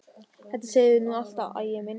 Þetta segirðu nú alltaf, Ægir minn!